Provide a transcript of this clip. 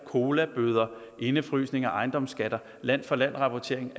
colabøder indefrysning af ejendomsskatter land for land rapportering